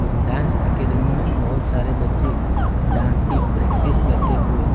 dance academy मे बहोत सारे बच्चे डांस की प्रैक्टिस करते हुए--